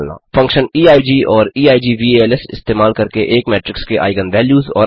6फंक्शन्स eig और eigvals इस्तेमाल करके एक मेट्रिक्स के आइगन वैल्यूज़ और आइगन वेक्टर्स निकालना